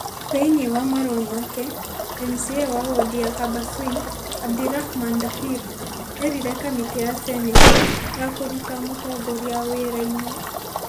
Thĩinĩ wa marũa make, MCA wa wondi ya Habaswein, Abdirahman Dahir erire kamĩtĩ ya seneti ya kũruta mũtongoria wira-inĩ ,